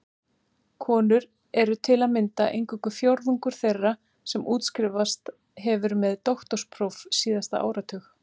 Konur eru til að mynda eingöngu fjórðungur þeirra sem útskrifast hefur með doktorspróf síðasta áratug.